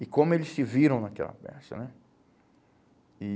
E como eles se viram naquela peça, né? E